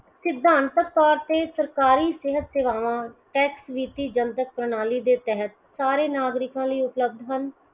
ਸਿਧਾਂਤਕ ਤੌਰ ਤੇ ਸਰਕਾਰੀ ਸਿਹਤ ਸੇਵਾਵਾਂ tax ਜਨਤਕ ਪ੍ਰਣਾਲੀ ਦੇ ਤਹਿਤ ਸਾਰੇ ਨਾਗਰਿਕਾਂ ਲਈ ਉਪਲੱਬਧ ਹਨ